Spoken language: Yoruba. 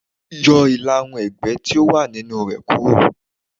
Yọ ìlà-irun ẹ̀gbẹ́ tí ó wà nínú re kúrò.